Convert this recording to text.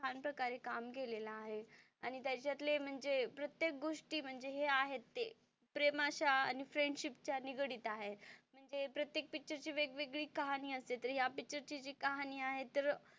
छान प्रकारे काम केलेलं आहे आणि त्याच्यातले म्हणजे प्रत्येक गोष्टी म्हणजे हे आहेत ते प्रेमाच्या आणि फ्रेंडशिप च्या निगडित आहेत म्हणजे प्रत्येक पिक्चर ची वेगवेगळी कहाणी असते तर ह्या पिक्चर ची जी कहाणी आहे तर,